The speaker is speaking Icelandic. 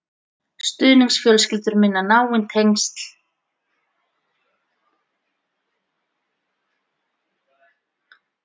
Stuðningsfjölskyldur mynda náin tengsl við börnin sem þær taka inn á heimili sitt.